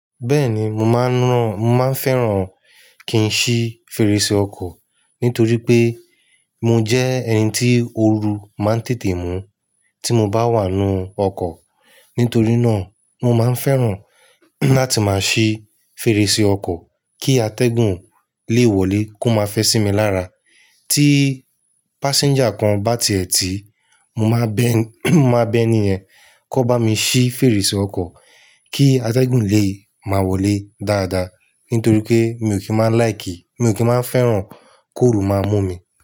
Bẹ́ẹ̀ni mo máa ń rán, mo máa ń fẹ́ràn kí n ṣí fèrèsé ọkọ̀ nítorí pé mo jẹ́ ẹni tí ooru máa ń tètè mú tí mo bá wà nínú ọkọ̀. Nítorí náà mo máa ń fẹ́ràn láti máa ṣí fèrèsé ọkọ̀ kí atẹ́gùn lè wọlé kó máa fẹ́ sí mi lára. Tí passenger kan bá tìẹ̀ tì, mo máa bẹ, mo máa bẹ́ni, yẹn kó bá mi ṣí fèrèsé ọkọ̀, kí atẹ́gùn lè máa wọlé dáadáa. Nítorí pé mi ò kí máa ń like, mi ò kí máa ń fẹ́ràn. Kó ooru máa mú mi.